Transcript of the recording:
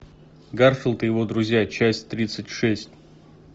гарфилд и его друзья часть тридцать шесть